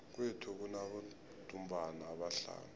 kwethu kunabodumbana abahlanu